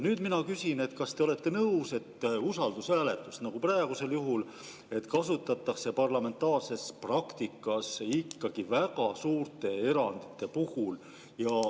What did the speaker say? Nüüd ma küsin, kas te olete nõus, et usaldushääletust, praegusel juhul, kasutatakse parlamentaarses praktikas ikkagi väga suurte erandite puhul.